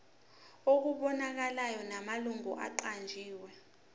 okubonakalayo namalungu aqanjiwe